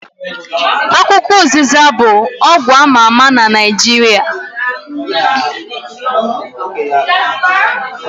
Akwukwo ụzịza bụ ọgwụ ama ama na Naijiria